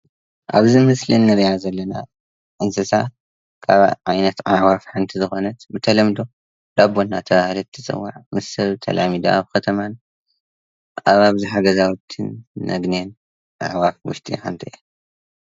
ኣብዚ ምስሊ ንሪኣ ዘለና እንሳሳ ኻብ ዓይነት ኣዕዋፍ ሓንቲ ዝኮነት ብተለምዶ ዳቦ እናተብሃለት ትፅዋዕ ምስ ሰብ ተላሚዳ ኣብ ከተማን ኣብ ኣብዝሓ ገዛዉቲን ነግንያ ካብ ኣዕዋፍ ዉሽጢ ሓንቲ እያ።